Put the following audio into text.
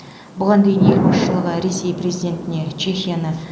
бұған дейін ел басшылығы ресей президентіне чехияны